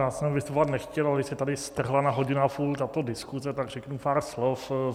Já jsem vystupovat nechtěl, ale když se tady strhla na hodinu a půl tato diskuze, tak řeknu pár slov.